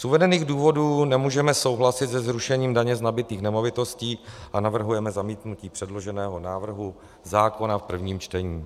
Z uvedených důvodů nemůžeme souhlasit se zrušením daně z nabytých nemovitostí a navrhujeme zamítnutí předloženého návrhu zákona v prvním čtení.